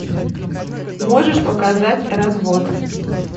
можешь показать развод